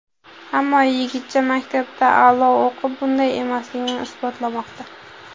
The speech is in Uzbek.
Ammo yigitcha maktabda a’loga o‘qib, bunday emasligini isbotlamoqda.